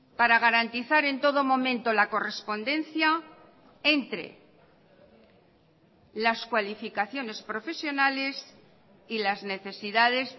para garantizar en todo momento la correspondencia entre las cualificaciones profesionales y las necesidades